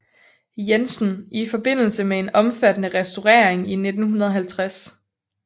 Jensen i forbindelse med en omfattende restaurering i 1950